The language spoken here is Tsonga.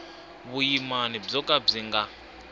vuyimana byo ka byi nga